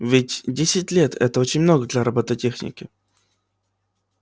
ведь десять лет это очень много для роботехники